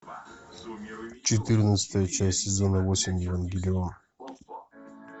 четырнадцатая часть сезона восемь евангелион